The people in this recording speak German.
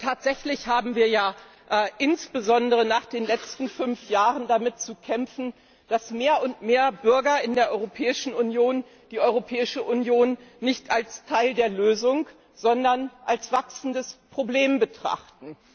Denn tatsächlich haben wir ja insbesondere nach den letzten fünf Jahren, damit zu kämpfen, dass mehr und mehr Bürger in der Europäischen Union die Europäische Union nicht als Teil der Lösung, sondern als wachsendes Problem betrachten.